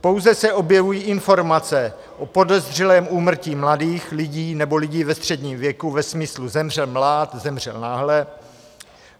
Pouze se objevují informace o podezřelém úmrtí mladých lidí nebo lidí ve středním věku ve smyslu "zemřel mlád, zemřel náhle".